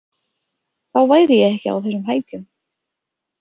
Þá væri ég ekki á þessum hækjum.